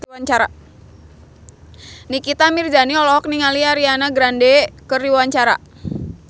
Nikita Mirzani olohok ningali Ariana Grande keur diwawancara